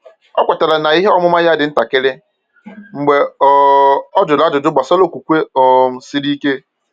Ọ kwetara na ihe ọmụma ya dị ntakịrị mgbe um ọ jụrụ ajụjụ gbasara okwukwe um siri ike.